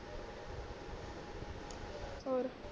ਔਰ